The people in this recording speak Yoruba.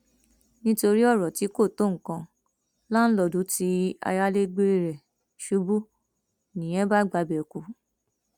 nítorí ọrọ tí kò tó nǹkan láńlọọdù tí ayálégbé rẹ ṣubú nìyẹn bá gbabẹ kú